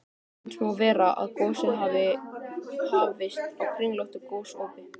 Eins má vera, að gosið hafi hafist á kringlóttu gosopi.